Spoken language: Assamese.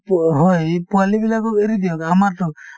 পো হয় এই পোৱালিবিলাকক এৰি দিয়া যায় আমাৰতো